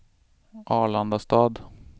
Arlandastad